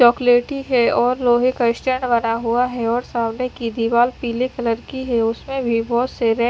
चॉकलेटी है और लोहे का स्टैंड बना हुआ है और सामने की दीवाल पीले कलर की है उसमें भी बहोत से रेड --